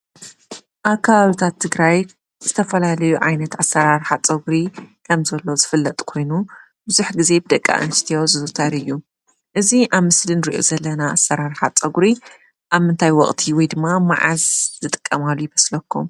ኣብ ከባብታት ትግራይ ዝተፈላለዮ ዓይነት ኣሰራርሓ ፀጉሪ ከምዘሎ ዝፍለጥ ኮይኑ ብዙሕ ጊዜ ብደቂ ኣንስትዮ ዝዝውተር እዩ፡፡ እዚ ኣብ ምስሊ ንሪኦ ዘለና ኣሰራርሓ ፀጉሪ ኣብ ምንታይ ወቕቲ ወይድማ መዓዝ ዝጥቀማሉ ይመስለኩም?